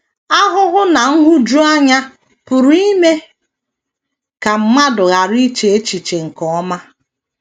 Ahụhụ na nhụjuanya pụrụ ime ka mmadụ ghara iche echiche nke ọma.